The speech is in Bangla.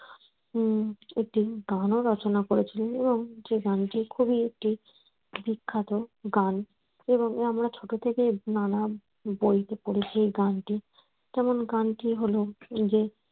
উম একটি গান ও রচনা করেছিলেন এবং যে গানটি খুবই একটি বিখ্যাত গান এবং আমরা ছোট থেকেই নানা বইতে পড়েছি গানটি যেমন গানটি হল যে